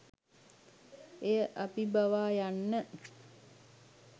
එය අභිබවා යන්න